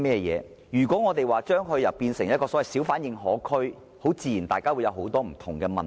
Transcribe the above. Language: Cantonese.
如果我們說是要將它變成一個小販認可區，大家自然要考慮很多不同的問題。